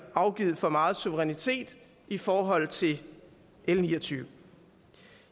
afgivet for meget suverænitet i forhold til l niogtyvende